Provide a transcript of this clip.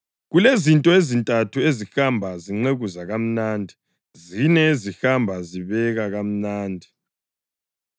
Kulezinto ezintathu ezihamba zinqekuza kamnandi, zine ezihamba zibeka kamnandi: